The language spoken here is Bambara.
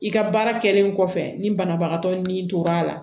I ka baara kɛlen kɔfɛ ni banabagatɔ ni tora a la